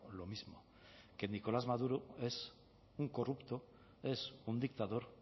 lo mismo que nicolás maduro es un corrupto es un dictador